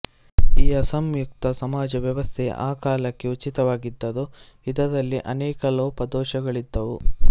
ಈ ಅಸಂಯುಕ್ತ ಸಮಾಜ ವ್ಯವಸ್ಥೆ ಆ ಕಾಲಕ್ಕೆ ಉಚಿತವಾಗಿದ್ದರೂ ಇದರಲ್ಲಿ ಅನೇಕ ಲೋಪದೋಷಗಳಿದ್ದುವು